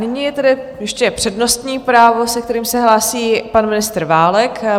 Nyní je tady ještě přednostní právo, se kterým se hlásí pan ministr Válek.